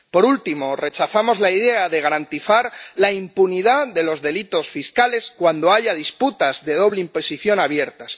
Por último, rechazamos la idea de garantizar la impunidad de los delitos fiscales cuando haya disputas de doble imposición abiertas.